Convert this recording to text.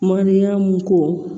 Mandenya mun ko